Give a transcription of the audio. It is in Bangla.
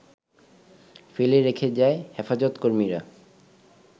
ফেলে রেখে যায় হেফাজতকর্মীরা,